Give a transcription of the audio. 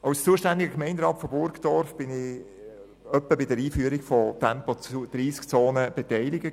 Als zuständiger Gemeinderat in Burgdorf war ich einige Male an der Einführung von Tempo-30-Zonen beteiligt.